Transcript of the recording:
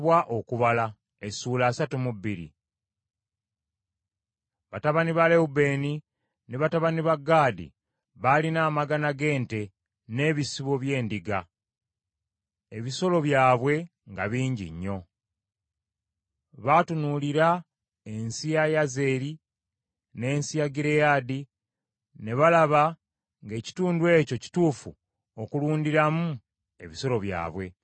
Batabani ba Lewubeeni ne batabani ba Gaadi baalina amagana g’ente n’ebisibo by’endiga; ebisolo byabwe nga bingi nnyo. Baatunuulira ensi ya Yazeri n’ensi ya Gireyaadi, ne balaba ng’ekitundu ekyo kituufu okulundiramu ebisolo byabwe.